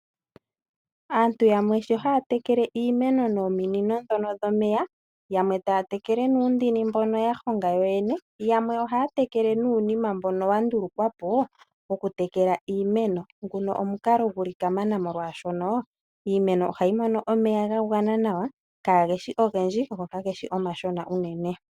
Aantu yamwe shi haya tekele iimenoo nominino ndhono dhomeya, yamwe taya tekele nuundini mbono ya honga yoyene, yamwe ohaya tekele nuunima mbono wa ndulukwa po wokutekela iimeno. Nguno omukalo gu li kamana, molwashoka iimeno ohayi mono omeya ga gwana nawa, kage shi ogendji go kage shi omashona.